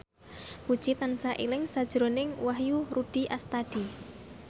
Puji tansah eling sakjroning Wahyu Rudi Astadi